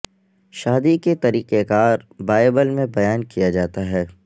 شادی کے طریقہ کار بائبل میں بیان کیا جاتا ہے